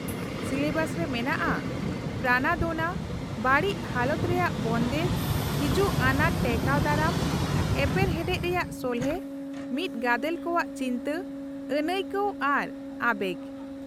-Syllabus ᱨᱮ ᱢᱮᱱᱟᱜᱼᱟ ᱯᱨᱟᱱᱟᱫᱳᱱᱟ, ᱵᱟᱹᱲᱤᱡ ᱦᱟᱞᱚᱛ ᱨᱮᱭᱟᱜ ᱵᱚᱱᱫᱮᱡ, ᱦᱤᱡᱩᱜ ᱟᱱᱟᱴ ᱴᱮᱠᱟᱣ ᱫᱟᱨᱟᱢ , ᱮᱯᱮᱨᱦᱮᱰᱮᱪ ᱨᱮᱭᱟᱜ ᱥᱚᱞᱦᱮ, ᱢᱤᱫ ᱜᱟᱫᱮᱞ ᱠᱚᱣᱟᱜ ᱪᱤᱱᱛᱟᱹ, ᱟᱹᱱᱟᱹᱭᱠᱟᱹᱣ ᱟᱨ ᱟᱵᱮᱜ ᱾